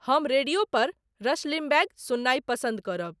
हम रेडियो पर Rush Limbaugh सुननाई पसंद करब